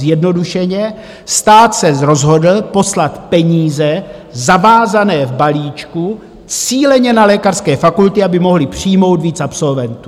Zjednodušeně: stát se rozhodl poslat peníze zavázané v balíčku cíleně na lékařské fakulty, aby mohly přijmout víc absolventů.